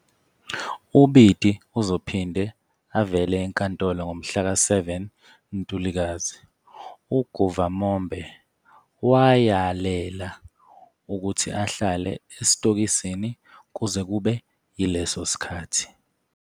UBiti uzophinde avele enkantolo ngomhlaka-7 Ntulikazi, uGuvamombe wayalela ukuthi ahlale esitokisini kuze kube yileso sikhathi.